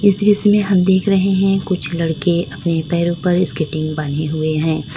इस दृश्य में हम देख रहे हैं कुछ लड़के अपने पैरों पर स्केटिंग बांधे हुए हैं।